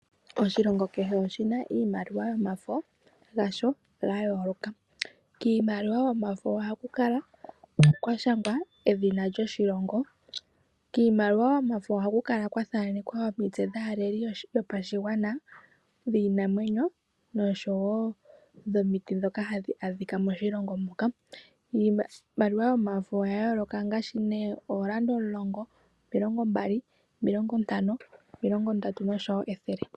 Oshilongo kehe oshina iimaliwa yasho ya yooloka, kiimaluwa yomafo oha ku kala kwa shangwa edhina lyoshilongo. Kiimaliwa yomafo oha ku kala kwa thanekwa omitted dhaaleli yoshilongo, dhiinamwenyo osho wo dhomiti ndhoka ha dhi adhika moshilongo moka. Iimaliwa yomafo oya yooloka ngashi neah Yolanda omulongo, omilongo mbali, omilongo ntano, omilongo ndatu no sho wo ethele.